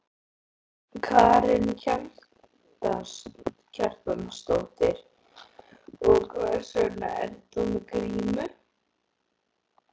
Karen Kjartansdóttir: Og hvers vegna ert þú með grímu?